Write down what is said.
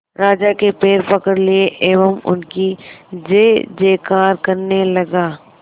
राजा के पैर पकड़ लिए एवं उनकी जय जयकार करने लगा